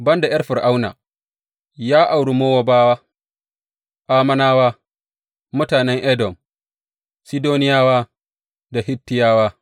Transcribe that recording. Ban da ’yar Fir’auna, ya auri Mowabawa, Ammonawa, mutanen Edom, Sidoniyawa da Hittiyawa.